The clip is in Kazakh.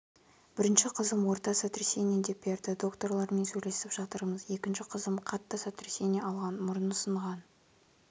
бірінші қызым орта сотрясение деп берді докторлармен сөйлесіп жатырмыз екінші қызым қатты сотрясение алған мұрны сынған